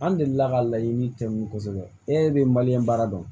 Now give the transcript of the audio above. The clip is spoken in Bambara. An delila ka laɲini tɛ min ye kosɛbɛ e de ye ye baara dɔn